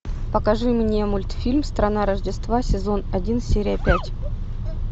покажи мне мультфильм страна рождества сезон один серия пять